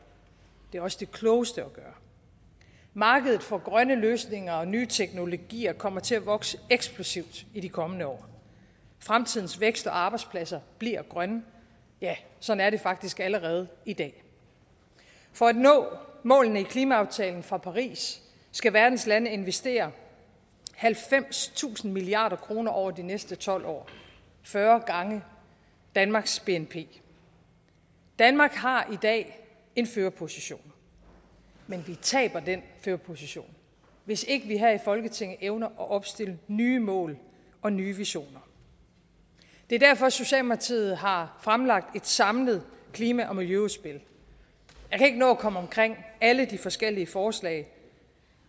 det er også det klogeste at gøre markedet for grønne løsninger og nye teknologier kommer til at vokse eksplosivt i de kommende år fremtidens vækst og arbejdspladser bliver grønne ja sådan er det faktisk allerede i dag for at nå målene i klimaaftalen fra paris skal verdens lande investere halvfemstusind milliard kroner over de næste tolv år fyrre gange danmarks bnp danmark har i dag en førerposition men vi taber den førerposition hvis ikke vi her i folketinget evner at opstille nye mål og nye visioner det er derfor socialdemokratiet har fremlagt et samlet klima og miljøudspil jeg kan ikke nå at komme omkring alle de forskellige forslag